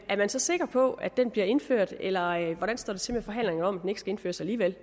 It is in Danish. man så sikker på at den bliver indført eller hvordan står det til med forhandlinger om at den ikke skal indføres alligevel